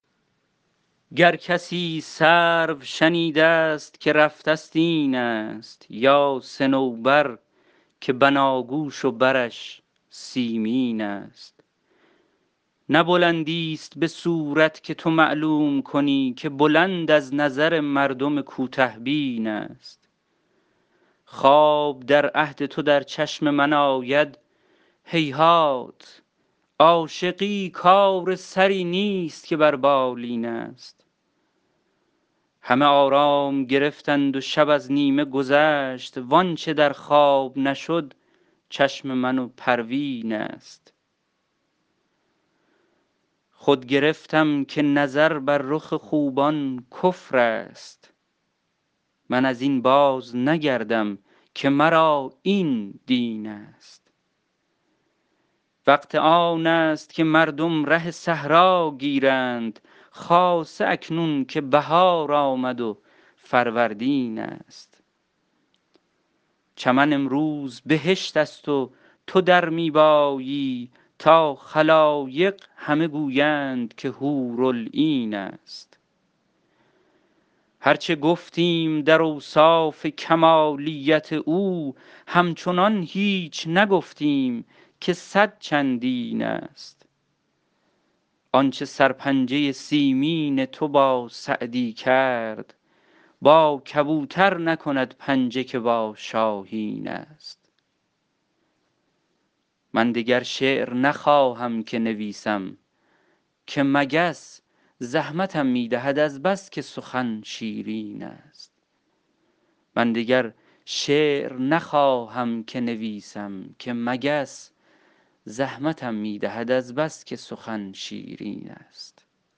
گر کسی سرو شنیده ست که رفته ست این است یا صنوبر که بناگوش و برش سیمین است نه بلندیست به صورت که تو معلوم کنی که بلند از نظر مردم کوته بین است خواب در عهد تو در چشم من آید هیهات عاشقی کار سری نیست که بر بالین است همه آرام گرفتند و شب از نیمه گذشت وآنچه در خواب نشد چشم من و پروین است خود گرفتم که نظر بر رخ خوبان کفر است من از این بازنگردم که مرا این دین است وقت آن است که مردم ره صحرا گیرند خاصه اکنون که بهار آمد و فروردین است چمن امروز بهشت است و تو در می بایی تا خلایق همه گویند که حورالعین است هر چه گفتیم در اوصاف کمالیت او همچنان هیچ نگفتیم که صد چندین است آنچه سرپنجه سیمین تو با سعدی کرد با کبوتر نکند پنجه که با شاهین است من دگر شعر نخواهم که نویسم که مگس زحمتم می دهد از بس که سخن شیرین است